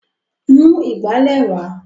Mú ìgbálẹ̀ wá!